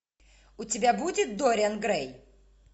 у тебя будет дориан грей